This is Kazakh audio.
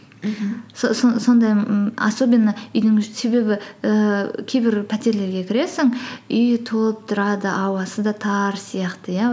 сондай м особенно үйдің себебі ііі кейбір пәтерлерге кіресің үйі толып тұрады ауасы да тар сияқты иә